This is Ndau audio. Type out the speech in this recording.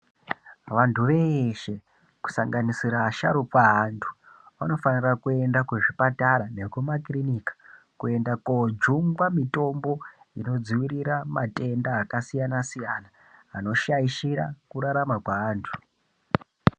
Vanhu veeshe kusanganisira asharukwa eantu, vanofanira kuenda kuzvipatara nekumakirinika, kuenda koojungwa mitombo inodzivirira matenda akasiyana-siyana anoshaishira kurarama kweantu.